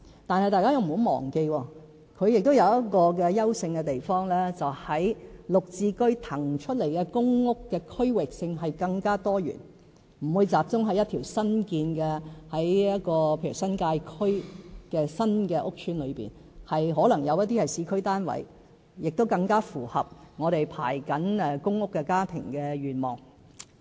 但是，大家不要忘記，它亦有一個優勝的地方，便是在"綠置居"騰出來的公屋的區域性更多元，例如不會集中在一條新建的新界區屋邨裏面，可能有一些是市區單位，亦更符合我們正在輪候公屋的家庭的願望。